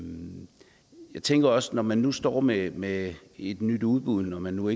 jeg tænker også at når man nu står med med et nyt udbud når man nu